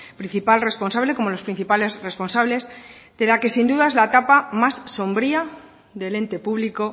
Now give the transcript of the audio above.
principal responsable como los principales responsables de la que sin duda es la etapa más sombría del ente público